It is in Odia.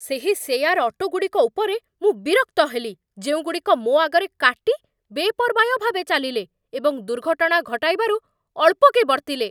ସେହି ସେୟାର ଅଟୋ ଗୁଡ଼ିକ ଉପରେ ମୁଁ ବିରକ୍ତ ହେଲି ଯେଉଁଗୁଡ଼ିକ ମୋ ଆଗରେ କାଟି ବେପର୍ବାୟ ଭାବେ ଚାଲିଲେ, ଏବଂ ଦୁର୍ଘଟଣା ଘଟାଇବାରୁ ଅଳ୍ପକେ ବର୍ତ୍ତିଲେ